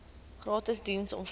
gratis diens omvat